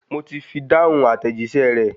Mo ti fi dáhùn àtẹ̀jíṣẹ́ rẹ̀